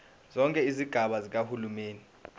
zonke izigaba zikahulumeni